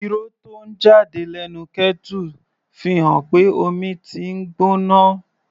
Ìró tó ń jáde lẹ́nu kettle fi hàn pé omi tí ń gbóná.